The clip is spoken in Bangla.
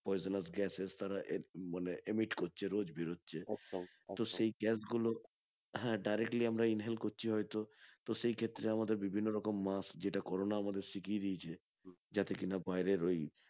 Poisonous gases তারা মানে emit করছে রোজ বেরোচ্ছে তো সেই gas গুলো হ্যাঁ directly আমরা inhale করছি হয়তো তো সেক্ষেত্রে আমাদের বিভিন্ন রকম musk যেটা করোনা আমাদের শিখিয়ে দিয়েছে যাতে কিনা বাইরের ওই